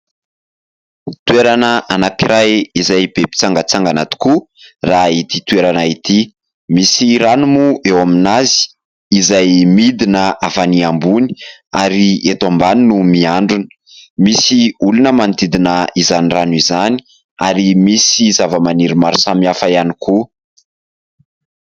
Toerana anankiray izay be mpitsangantsangana tokoa raha ity toerana ity. Misy rano moa eo aminy izay midina avy any ambony ary eto ambany no miandrona. Misy olona manodidina izany rano izany ary misy zavamaniry maro samihafa ihany koa.